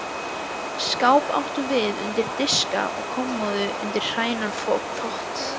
Skáp áttum við undir diska og kommóðu undir hreinan þvott.